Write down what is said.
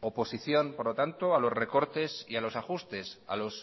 oposición por lo tanto a los recortes y a los ajustes a los